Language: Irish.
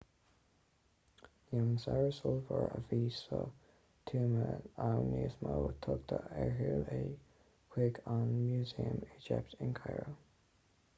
níl an saibhreas ollmhór a bhí sa tuama ann níos mó tugadh ar shiúl é chuig an músaem éigipteach in cairo